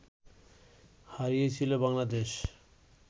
হারিয়েছিল বাংলাদেশ